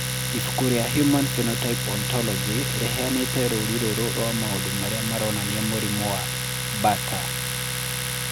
Ibuku rĩa Human Phenotype Ontology rĩheanĩte rũũri rũrũ rwa maũndũ marĩa maronania mũrimũ wa Bartter.